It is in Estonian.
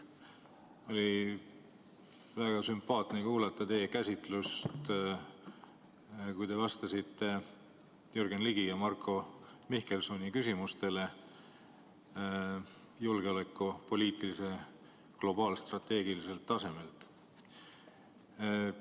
Oli väga sümpaatne kuulata teie käsitlust, kui te vastasite Jürgen Ligi ja Marko Mihkelsoni küsimustele julgeolekupoliitikast globaalstrateegiliselt tasemelt.